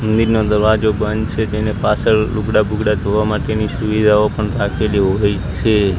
મંદિરનો દરવાજો બંધ છે તેને પાછળ લુગડા બુગડા ધોવા માટેની સુવિધાઓ પણ રાકેલી હોય છે.